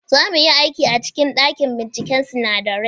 Za mu yi aiki a cikin dakin binciken sinadarai.